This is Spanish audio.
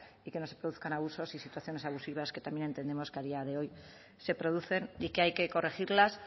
y que no se produzcan abusos y situaciones abusivas que también entendemos que a día de hoy se producen y que hay que corregirlas